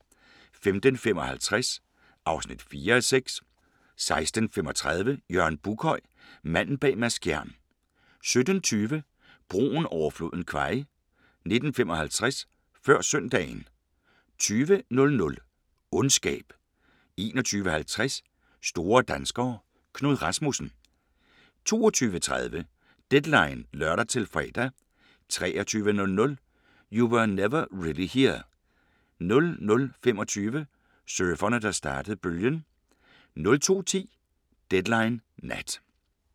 15:55: Smuglerne (4:6) 16:35: Jørgen Buckhøj – Manden bag Mads Skjern 17:20: Broen over floden Kwai 19:55: Før søndagen 20:00: Ondskab 21:50: Store danskere – Knud Rasmussen 22:30: Deadline (lør-fre) 23:00: You Were Never Really Here 00:25: Surferne, der startede bølgen 02:10: Deadline Nat